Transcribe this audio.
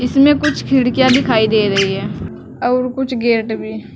इसमें कुछ खिड़कियां दिखाई दे रही हैं और कुछ गेट भी।